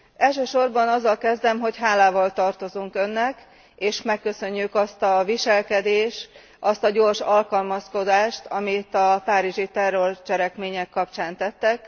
Elsősorban azzal kezdem, hogy hálával tartozunk Önnek, és megköszönjük azt a viselkedést, azt a gyors alkalmazkodást, amit a párizsi terrorcselekmények kapcsán tettek.